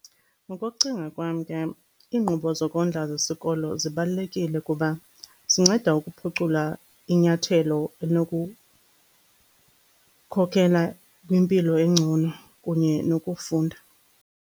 Ngokokucinga kwam ke iinkqubo zokondla zesikolo zibalulekile kuba zinceda ukuphucula inyathelo elinokukhokhela kwimpilo engcono kunye nokufunda.